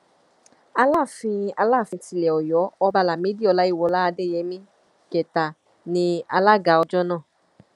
alaafin alaafin tilẹ ọyọ ọba lámìdí ọláyíwọlá adéyẹmi kẹta ní alága ọjọ náà